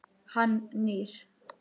Hann nýr.